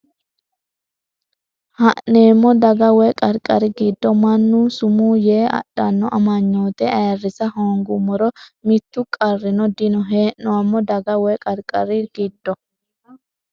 Hee’neemmo daga woy qarqari giddo mannu sumuu yee adhanno amanyoote ayirrisa hoongummoro mittu qarrino dino Hee’neemmo daga woy qarqari giddo.